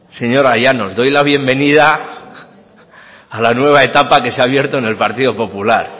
señora llanos doy la bienvenida a la nueva etapa que se ha abierto en el partido popular